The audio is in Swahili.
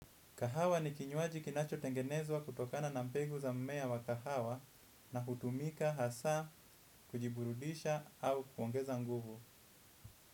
Kahawa ni kinyuaji kinacho tengenezwa kutokana na mpegu za mmea wa kahawa na hutumika, hasa, kujiburudisha au kuongeza nguvu.